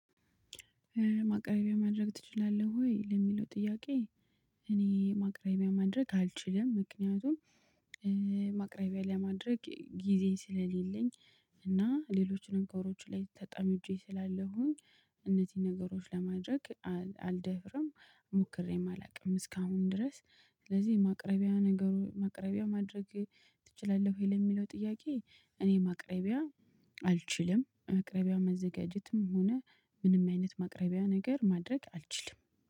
ማቅረቢያ ማድረግ ትችላለህ ወይ ለሚለው ጥያቄ? እኔ ማቅረቢያ ማድረግ አልችልም ምክንያቱም እ ማቅረቢያ ለማድረግ ጊዜ ስለሌለኝ እና ሌሎችንም ከወሮቹ ላይ ተጠምጄ ስላለሁኝ እነዚህን ነገሮች ለማድረግ አልደፍርም ሞክሬም አላውቅም እስካሁን ድረስ። ስለዚህ ማቅረቢያ ነገሩ ማቅረቢያ ማድረግ ትችላለህ ወይ ለሚለው ጥያቄ? እኔ ማቅረቢያ አልችልም ማቅረቢያ መዘጋጀትም ሆነ ምንም አይነት ማቅረቢያ ነገር ማድረግ አልችልም